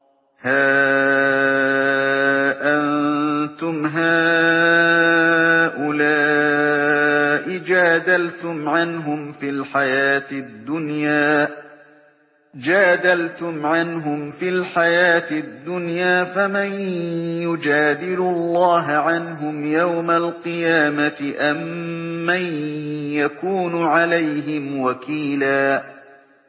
هَا أَنتُمْ هَٰؤُلَاءِ جَادَلْتُمْ عَنْهُمْ فِي الْحَيَاةِ الدُّنْيَا فَمَن يُجَادِلُ اللَّهَ عَنْهُمْ يَوْمَ الْقِيَامَةِ أَم مَّن يَكُونُ عَلَيْهِمْ وَكِيلًا